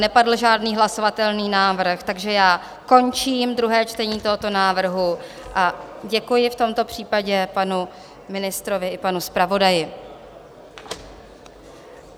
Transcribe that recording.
Nepadl žádný hlasovatelný návrh, takže já končím druhé čtení tohoto návrhu a děkuji v tomto případě panu ministrovi i panu zpravodaji.